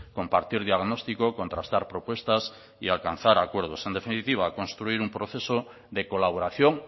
compartir diagnóstico contrastar propuestas y alcanzar acuerdos en definitiva construir un proceso de colaboración